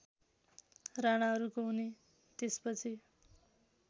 राणाहरूको हुने त्यसपछि